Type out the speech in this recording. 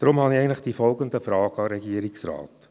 Deshalb habe ich folgende Fragen an den Regierungsrat: